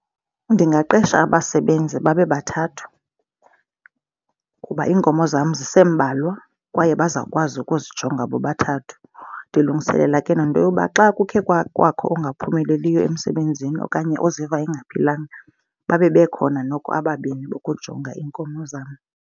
Ndingaqesha abasebenzi babe bathathu kuba iinkomo zam zisembalwa kwaye bazawukwazi ukuzijonga bobathathu. Ndilungiselela ke nento yoba xa kukhe kwakho angaphumeleliyo emsebenzini okanye oziva engaphilanga babe bekhona noko ababini bokujonga iinkomo zam.